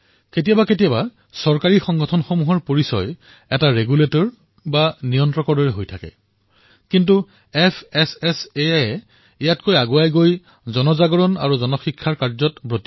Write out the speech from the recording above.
কেতিয়াবা কেতিয়াবা চৰকাৰী সংগঠনসমূহৰ পৰিচয় এক নিয়ামকৰ দৰে হয় কিন্তু fssaই য়ে এই ক্ষেত্ৰত এখোজ আগুৱাই জনসজাগতা আৰু লোকশিক্ষাৰ কাম কৰি আছে